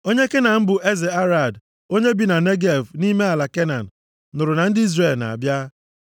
Onye Kenan bụ eze Arad, onye bi na Negev nʼime ala Kenan, nụrụ na ndị Izrel na-abịa.